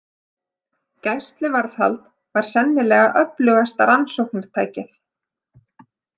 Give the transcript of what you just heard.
Gæsluvarðhald var sennilega öflugasta rannsóknartækið.